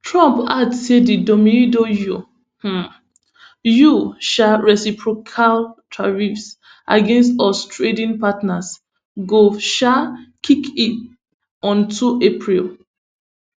trump add say di domeido you um you um reciprocal tariffs against us trading partners go um kick in on two april